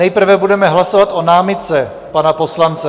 Nejprve budeme hlasovat o námitce pana poslance.